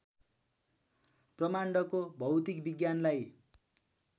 ब्रह्माण्डको भौतिक विज्ञानलाई